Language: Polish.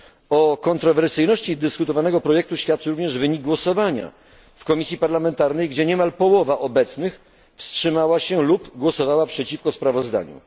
O kontrowersyjności dyskutowanego projektu świadczy również wynik głosowania w komisji parlamentarnej, gdzie niemal połowa obecnych wstrzymała się lub głosowała przeciwko sprawozdaniu.